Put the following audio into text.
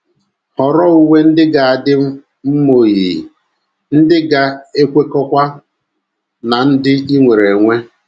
Họrọ uwe ndị ga - adị mma oyiyi, ndị ga - ekwekọkwa ná ndị i nwere enwe